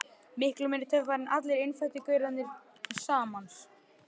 Miklu meiri töffari en allir innfæddu gaurarnir til samans.